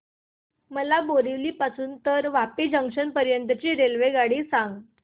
मला बोरिवली पासून तर वापी जंक्शन पर्यंत ची रेल्वेगाडी सांगा